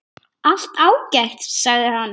Allt ágætt, sagði hann.